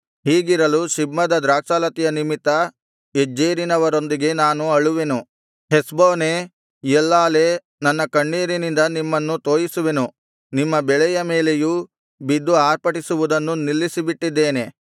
ಹೀಗಿರಲು ಸಿಬ್ಮದ ದ್ರಾಕ್ಷಾಲತೆಯ ನಿಮಿತ್ತ ಯಜ್ಜೇರಿನವರೊಂದಿಗೆ ನಾನು ಅಳುವೆನು ಹೆಷ್ಬೋನೇ ಎಲ್ಲಾಲೇ ನನ್ನ ಕಣ್ಣೀರಿನಿಂದ ನಿಮ್ಮನ್ನು ತೋಯಿಸುವೆನು ನಿಮ್ಮ ಹಣ್ಣಿನ ಮೇಲೆಯೂ ನಿಮ್ಮ ಬೆಳೆಯ ಮೇಲೆಯೂ ಬಿದ್ದು ಆರ್ಭಟಿಸುವುದನ್ನು ನಿಲ್ಲಿಸಿಬಿಟ್ಟಿದ್ದೇನೆ